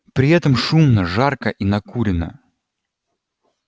при этом шумно жарко и накурено